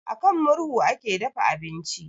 A kan murhu ake dafa abinci